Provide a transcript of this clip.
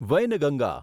Wainganga